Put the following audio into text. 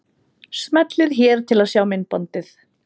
Smellið hér til að sjá myndbandið.